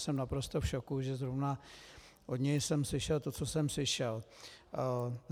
Jsem naprosto v šoku, že zrovna od něj jsem slyšel to, co jsem slyšel.